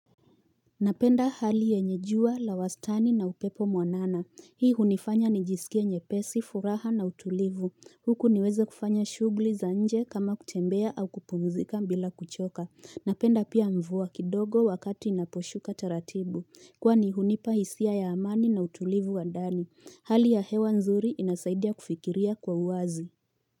Napenda hali yenye jua, la wastani na upepo mwanana. Hii hunifanya nijisikia nyepesi, furaha na utulivu. Huku niweze kufanya shughli za nje kama kutembea au kupumzika bila kuchoka. Napenda pia mvua kidogo wakati inaposhuka taratibu. Kwani hunipa hisia ya amani na utulivu wa ndani. Hali ya hewa nzuri inasaidia kufikiria kwa uwazi.